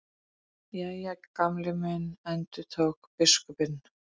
Jæja, Gamli minn endurtók biskupinn.